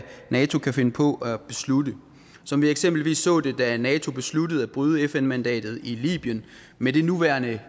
nato kan finde på at beslutte som vi eksempelvis så det da nato besluttede at bryde fn mandatet i libyen med det nuværende